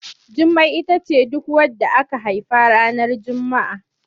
Jummai ita ce duk wadda aka haifa ranar Juma'a.